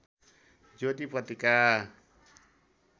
ज्योति पत्रिका